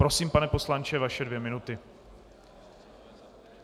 Prosím, pane poslanče, vaše dvě minuty.